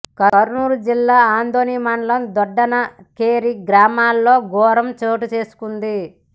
కర్నూలు జిల్లా ఆదోని మండలం దొడ్డనాకేరి గ్రామంలో ఘోరం చోటుచేసుకుంది